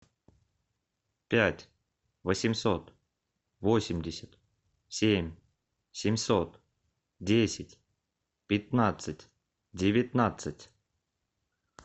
пять восемьсот восемьдесят семь семьсот десять пятнадцать девятнадцать